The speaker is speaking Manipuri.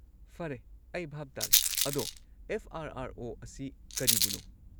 ꯐꯔꯦ, ꯑꯩ ꯚꯥꯞ ꯇꯥꯔꯦ꯫ ꯑꯗꯣ, ꯑꯦꯐ. ꯑꯥꯔ. ꯑꯥꯔ. ꯑꯣ. ꯑꯁꯤ ꯀꯔꯤꯕꯨꯅꯣ?